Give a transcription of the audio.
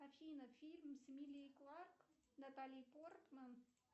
афина фильм с эмилией кларк натали портман